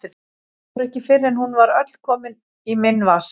Fór ekki fyrr en hún var öll komin í minn vasa.